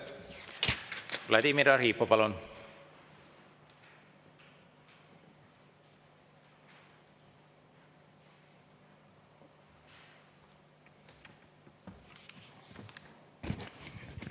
Vladimir Arhipov, palun!